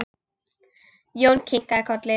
Jón kinkaði kolli.